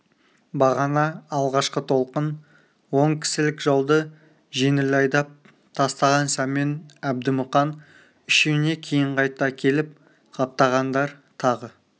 бағана алғашқы толқын он кісілік жауды жеңіл айдап тастаған сәмен әбді мұқан үшеуіне кейін қайта келіп қаптағандар тағы